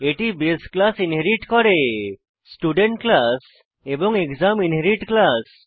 এটি base class inherit করে student class এবং এক্সাম আন্ডারস্কোর ইনহেরিট ক্লাস